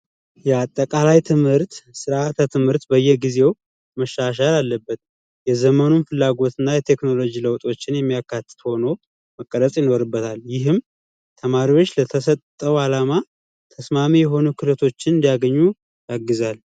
የአጠቃላይ ትምህርት ሥርዓተ ትምህርት በየጊዜው መሻሻል አለበት የዘመኑን ፍላጎትና የቴክኖሎጂ ለውጦችን የሚያካትት ሆኖ መቀረፅ ይኖርበታል። ይህም ተማሪዎች ስለተሰጠው አላማ ተስማሚ የሆኑ ክህሎቶችን እንዲያገኙ ያግዛል።